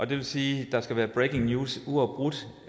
det vil sige at der skal være breaking news uafbrudt